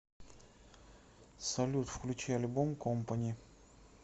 салют включи альбом компани